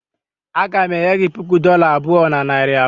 Aga m enye gị puku dola abụọ na narị abụọ